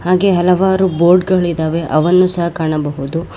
ಹಾಗೆ ಹಲವಾರು ಬೋರ್ಡ್ ಗಳಿದಾವೆ ಅವನ್ನು ಸಹ ಕಾಣಬಹುದು.